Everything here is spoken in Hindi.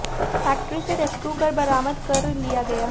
फैक्ट्री से रेस्क्यू कर बरामद कर लिया गया